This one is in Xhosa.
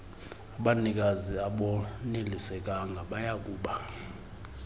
abanikazi abonelisekanga bayakuba